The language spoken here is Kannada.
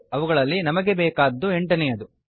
ಅವುಗಳಲ್ಲಿ ನಮಗೆ ಬೇಕಾದ್ದು ಎಂಟನೇಯದು